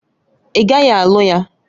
Ị gaghị alụ ya!